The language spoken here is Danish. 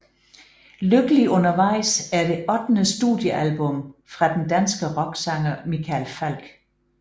Lykkelig undervejs er det ottende studiealbum fra den danske rocksanger Michael Falch